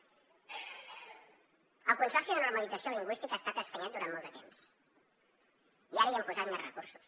el consorci per a normalització lingüística ha estat escanyat durant molt de temps i ara hi hem posat més recursos